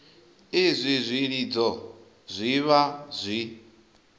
izwi zwilidzo zwi vha zwi